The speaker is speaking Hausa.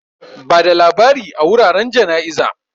Bada labari a wuraren jana'iza.